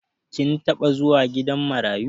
Kin taɓa zuwa gidan marayu?